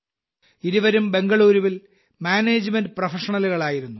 ഇരുവരും ബംഗളൂരുവിൽ മാനേജ്മെന്റ് പ്രൊഫഷണലുകളായിരുന്നു